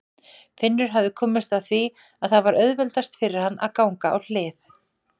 Finnur hafði komist að því að það var auðveldast fyrir hann að ganga á hlið.